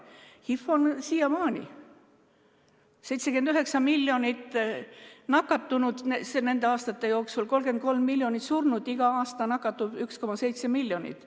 HIV levib siiamaani, 79 miljonit nakatunut nende aastate jooksul, 33 miljonit surnut, igal aastal nakatub 1,7 miljonit.